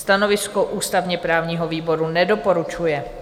Stanovisko ústavně-právního výboru: nedoporučuje.